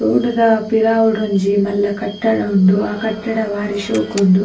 Road ದ ಪಿರಾವುಡೊಂಜಿ ಮಲ್ಲ ಕಟ್ಟಡ ಉಂಡು ಅಹ್ ಕಟ್ಟಡ ಬಾರಿ ಶೋಕುಂಡು .